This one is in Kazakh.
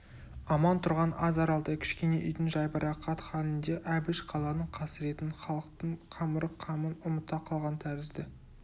аман тұрған аз аралдай кішкене үйдің жайбарақат халінде әбіш қаланың қасіретін халықтың қамырық қамын ұмыта қалған тәрізді